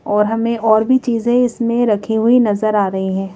और हमें और भी चीज़ें इसमें रखी हुई नजर आ रहीं हैं।